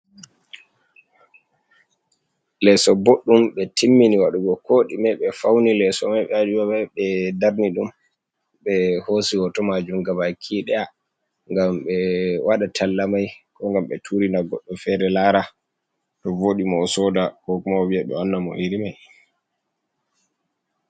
Leeso boɗɗum ɓe timmini waɗugo ko ɗime ɓe fauni leeso mai ɓe darni dum ɓe hoosi hoto majum ga baki daya ngam ɓe waɗa talla mai ko ngam ɓe turina goɗɗo feere laara to vooɗi mo o sooda ko kuma oviya ɓe wanna mo iri mai.